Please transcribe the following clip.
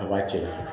A b'a cɛ